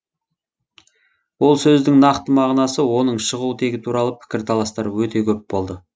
ол сөздің нақты мағынасы оның шығу тегі туралы пікірталастар өте көп болды